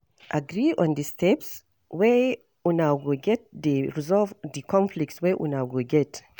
Agree on di steps wey una go take dey resolve di conflict wey una go get